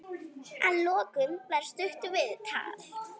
Að lokum var stutt viðtal.